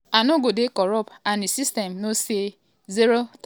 "i no go dey corrupt and di system go know say zero tolerance dey for corruption.